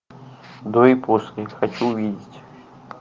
до и после хочу увидеть